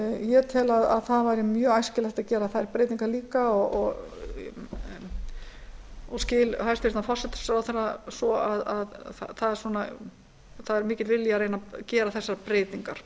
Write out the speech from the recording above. ég tel að það væri mjög æskilegt að gera þær breytingar líka og skil hæstvirtur forsætisráðherra svo að það sé mikill vilji að reyna að gera þessar breytingar